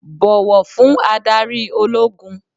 Bọ̀wọ̀ fún adarí ológun